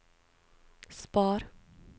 spar